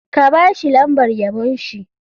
Ka ba shi lambar yabon shi.